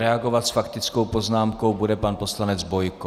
Reagovat s faktickou poznámkou bude pan poslanec Bojko.